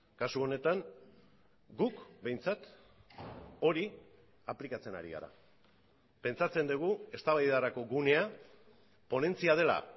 kasu honetan guk behintzat hori aplikatzen ari gara pentsatzen dugu eztabaidarako gunea ponentzia dela